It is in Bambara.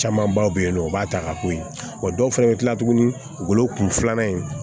Camanbaw bɛ yen nɔ u b'a ta ka k'o ye wa dɔw fana bɛ kila tugunni wolokun filanan in